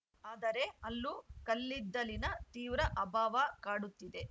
ಆದರೆ ಅಲ್ಲೂ ಕಲ್ಲಿದ್ದಲಿನ ತೀವ್ರ ಅಭಾವ ಕಾಡುತ್ತಿದೆ